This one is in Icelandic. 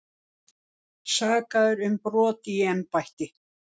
Sakaðir um brot í embætti